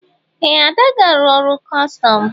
Ee! Ada ga-arụ ọrụ kọstọm.